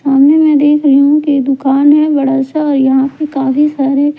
सामने वाले लोगों के दुकान है बड़सा और यहां पे काफी सारे--